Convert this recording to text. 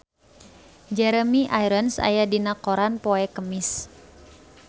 Jeremy Irons aya dina koran poe Kemis